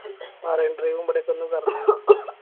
Marine drive ഉം ഇബിലടെക്കൊന്നും കറങ്ങി